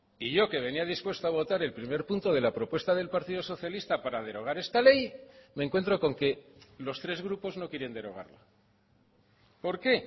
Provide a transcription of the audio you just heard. y yo que venía dispuesto a votar el primer punto de la propuesta del partido socialista para derogar esta ley me encuentro con que los tres grupos no quieren derogarla por qué